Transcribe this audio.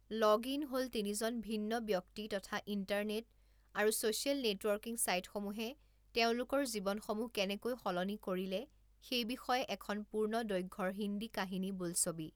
Login হ'ল তিনিজন ভিন্ন ব্যক্তি তথা ইণ্টাৰনেট আৰু ছ'চিয়েল নেটৱৰ্কিং চাইটসমূহে তেওঁলোকৰ জীৱনসমূহ কেনেকৈ সলনি কৰিলে সেই বিষয়ে এখন পূৰ্ণদৈৰ্ঘ্যৰ হিন্দী কাহিনী বোলছবি।